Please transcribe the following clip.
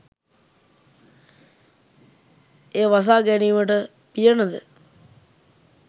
එය වසා ගැනීමට පියනද,